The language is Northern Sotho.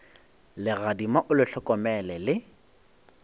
legadima o le hlokomele le